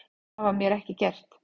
Það var mér ekki gert